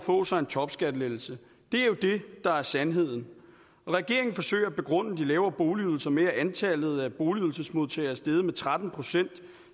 få sig en topskattelettelse det er jo det der er sandheden regeringen forsøger at begrunde de lavere boligydelser med at antallet af boligydelsesmodtagere er steget med tretten procent